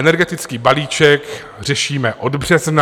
Energetický balíček řešíme od března.